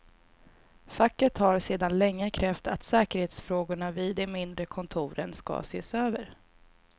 Facket har sedan länge krävt att säkerhetsfrågorna vid de mindre kontoren ska ses över.